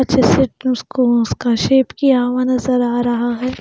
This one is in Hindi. अच्छे से उसको उसका शेप किया हुआ नजर आ रहा है.